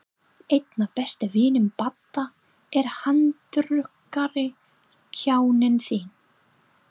Einn af bestu vinum Badda er handrukkari, kjáninn þinn.